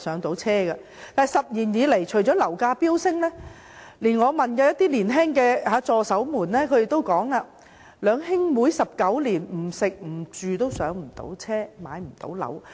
但是 ，10 年以來，樓價不斷飆升，我問年輕的助手，他們也表示，兩兄妹19年不吃不住也無法"上車"。